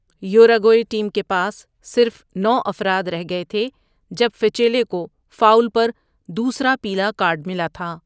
Uruguay team کے پاس صرف نو افراد رہ گئے تھے جب فچیلے کو فاول پر دوسرا پیلا کارڈ ملا تھا۔